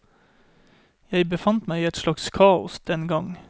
Jeg befant meg i et slags kaos den gang.